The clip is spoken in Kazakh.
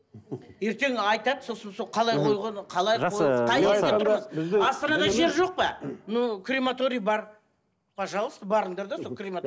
ертең айтады сосын сол қалай қойған қалай астанада жер жоқ па но крематорий бар пожалуйста барыңдар да сол